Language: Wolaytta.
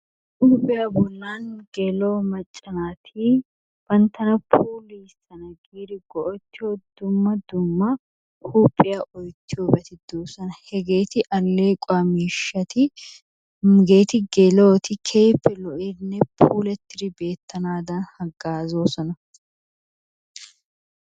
Huphiyaa bollaani gela''o maccaa natti banttanna pullayana giddi go'ettiyoo dumma dumma huphiyaa oyittiyobatti de'osonna heggetti alequwaa mishshati heggetti gela'otti kehippe lo'iddinne pullattidi bettanadanni hagazosonna.